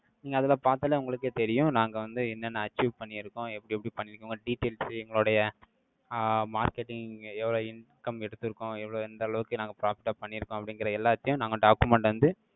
நீங்க அதுல பார்த்தாலே, உங்களுக்கே தெரியும். நாங்க வந்து, என்னென்ன achieve பண்ணியிருக்கோம்? எப்படி, எப்படி பண்ணியிருக்கோங்க details, எங்களுடைய, ஆஹ் marketing, எவ்வளவு income, எடுத்திருக்கோம். எவ்வளவு, எந்த அளவுக்கு, நாங்க profit ஆ பண்ணியிருக்கோம்? அப்படிங்கிற, எல்லாத்தையும், நாங்க, document அ வந்து,